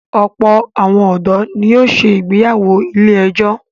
Ọ̀pọ̀ àwọn ọ̀dọ́ ni yóò se ìgbéyàwó ilé-ẹjọ̀.